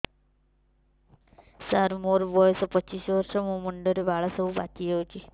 ସାର ମୋର ବୟସ ପଚିଶି ବର୍ଷ ମୋ ମୁଣ୍ଡରେ ବାଳ ସବୁ ପାଚି ଯାଉଛି